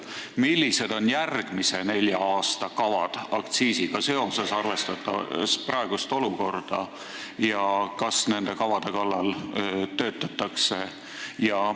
Millised on järgmise nelja aasta kavad aktsiisiga seoses, arvestades praegust olukorda, ja kas nende kavade kallal töötatakse?